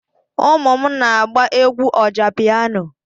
Ụmụ m na-agba egwú ọjá pịyano,